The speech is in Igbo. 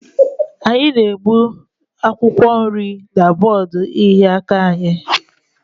Anyị na-egbutu akwụkwọ nri na bọọdụ ịhịa aka anyị.